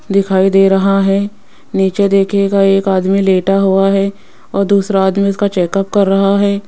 दिखाई दे रहा है नीचे देखिएगा एक आदमी लेटा हुआ हैं और दूसरा आदमी उसका चेकअप कर रहा हैं।